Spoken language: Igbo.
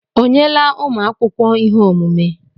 O nyela ụmụ akwụkwọ ihe omume?